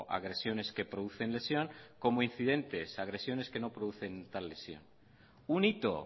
agresiones que producen lesión como incidentes agresiones que no producen tal lesión un hito